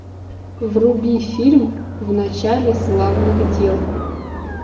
вруби фильм в начале славных дел